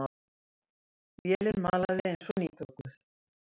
Vélin malaði eins og nýbökuð.